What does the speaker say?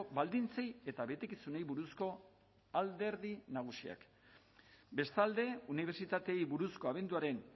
baldintzei eta betekizunei buruzko alderdi nagusiak bestalde unibertsitateei buruzko abenduaren